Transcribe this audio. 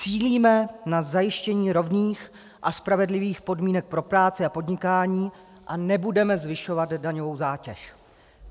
Cílíme na zajištění rovných a spravedlivých podmínek pro práci a podnikání a nebudeme zvyšovat daňovou zátěž.